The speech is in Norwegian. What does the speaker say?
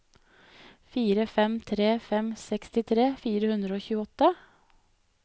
fire fem tre fem sekstitre fire hundre og tjueåtte